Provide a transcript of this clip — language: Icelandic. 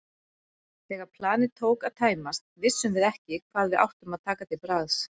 Þegar planið tók að tæmast vissum við ekki hvað við áttum að taka til bragðs.